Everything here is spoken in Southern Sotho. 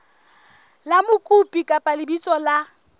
la mokopi kapa lebitso la